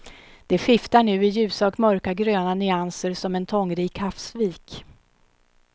Det skiftar nu i ljusa och mörka gröna nyanser som en tångrik havsvik.